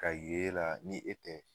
Ka y'e la ni e tɛ